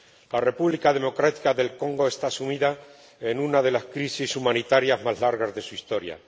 La República Democrática del Congo está sumida en una de las crisis humanitarias más largas de su historia.